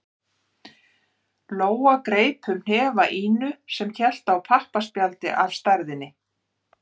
Lóa greip um hnefa Ínu sem hélt í pappaspjald af stærðinni